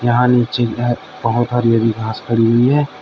यहां नीचे बहोत हरी हरी घास खड़ी हुई है।